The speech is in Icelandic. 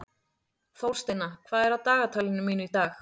Þórsteina, hvað er á dagatalinu mínu í dag?